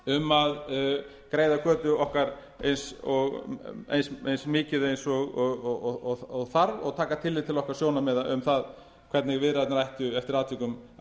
um að greiða götu okkar eins mikið og þarf og taka tillit til okkar sjónarmiða um það hvernig viðræðurnar ættu eftir atvikum að